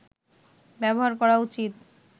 ব্যবহার করা উচিত